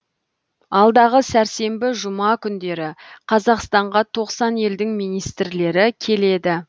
алдағы сәрсенбі жұма күндері қазақстанға тоқсан елдің министрлері келеді